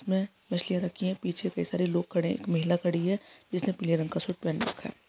मैं मछलियाँ रखी है पीछे कई सारे लोग खड़े है महिला खड़ी हैं जिसने पीले रंग का सूट पहन रखा है।